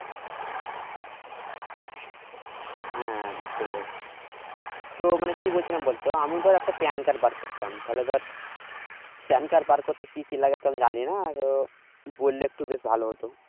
হ্যাঁ বুজতে পেরেছি তো মানে কি বলছিলাম বলতো আমি ধরে একটা PAN card বের করতাম তাহলে ধর PAN card বার করতে কি কি লাগে তো আমি জানি না আহ বলে একটু বেশ ভালো হতো